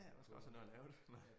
Ja man skal også have nået at lave det men